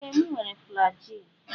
Ee m were flajilụ.